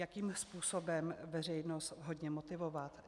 Jakým způsobem veřejnost vhodně motivovat?